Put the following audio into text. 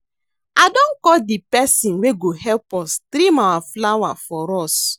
I don call the person wey go help us trim our flower for us